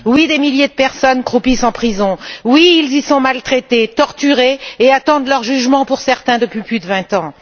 Des milliers de personnes croupissent en prison elles y sont maltraitées, torturées et attendent leur jugement, pour certaines, depuis plus de vingt ans.